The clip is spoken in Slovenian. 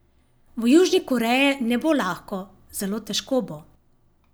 V Južni Koreji ne bo lahko, zelo težko bo.